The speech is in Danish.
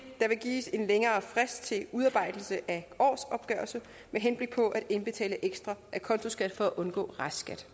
givet en længere frist til udarbejdelse af årsopgørelse med henblik på at indbetale ekstra acontoskat for at undgå restskat